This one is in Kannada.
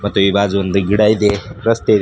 ತೈ ಬಾಜು ಒಂದ ಗಿಡ ಇದೆ ರಸ್ತೆ ಇ--